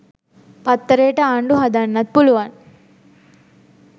පත්තරේට ආණ්ඩු හදන්නත් පුළුවන්